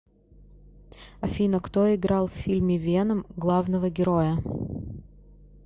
афина кто играл в фильме веном главного героя